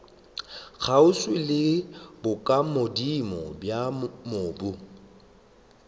kgauswi le bokagodimo bja mobu